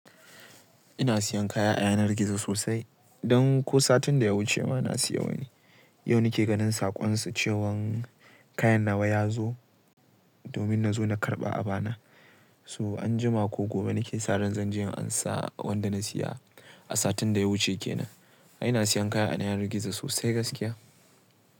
Ina siyan kaya a yanar gizo sosai. Don ko satin da ya wuce ma na siya wani. Yau nake ganin saƙonsu cewan kayan nawa ya zo, domin nazo na karɓa a bana. So anjima ko gobe nake sa ran zanje in ansa wanda na siya, a satin da ya wuce kenan. A'ina siyan kaya a yanar gizo sosai gaskiya.